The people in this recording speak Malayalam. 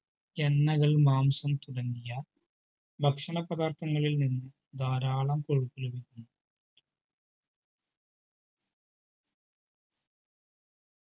എണ്ണകൾ മാംസം തുടങ്ങിയ ഭക്ഷണ പദാർത്ഥങ്ങളിൽ ധാരാളം കൊഴുപ്പ് ലഭിക്കുന്നു